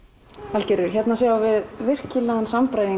Valgerður hérna sjáum við virkilegan